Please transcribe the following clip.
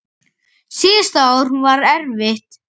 Síðasta ár var erfitt.